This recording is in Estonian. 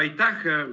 Aitäh!